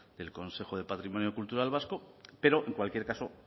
del consejo de patrimonio cultural vasco pero en cualquier caso